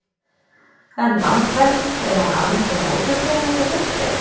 En Landvernd, er hún almennt á móti því að það sé virkjað?